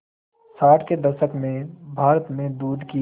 साठ के दशक में भारत में दूध की